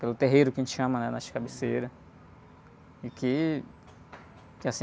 Pelo terreiro, que a gente chama, né? Nas cabeceiras. E que, assim...